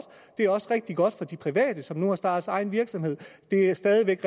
det er også rigtig godt for de private som nu har startet egen virksomhed det er stadig væk